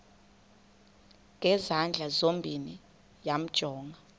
ngezandla zozibini yamjonga